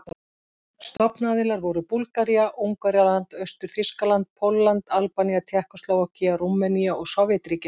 Stofnaðilar voru Búlgaría, Ungverjaland, Austur-Þýskaland, Pólland, Albanía, Tékkóslóvakía, Rúmenía og Sovétríkin.